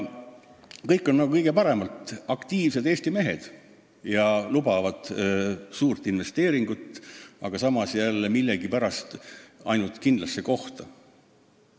Kõik on nagu kõige parem, aktiivsed Eesti mehed ja lubavad suurt investeeringut, aga samas millegipärast ainult kindlasse kohta.